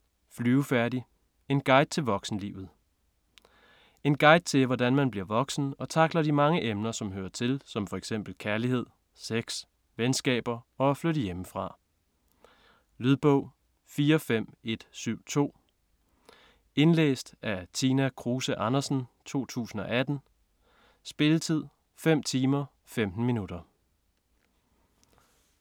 Flyvefærdig: en guide til voksenlivet En guide til hvordan man bliver voksen, og tackler de mange emner som hører til som f.eks kærlighed, sex, venskaber og at flytte hjemmefra. Lydbog 45172 Indlæst af Tina Kruse Andersen, 2018. Spilletid: 5 timer, 15 minutter.